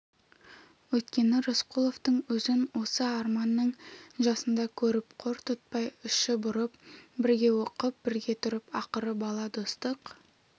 өйткені рысқұловтың өзін осы арманның жасында көріп қор тұтпай іші бұрып бірге оқып бірге тұрып ақыры бала достық